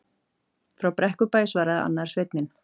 Frá Brekkubæ, svaraði annar sveinninn.